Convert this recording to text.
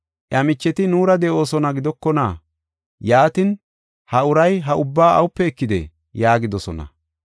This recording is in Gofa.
Iya micheti nuura de7oosona gidokona? Yaatin, ha uray ha ubbaa awupe ekidee?” yaagidosona.